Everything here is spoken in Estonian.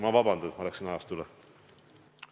Palun vabandust, et ma läksin ajast üle!